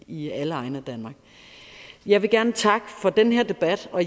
i alle egne af danmark jeg vil gerne takke for den her debat og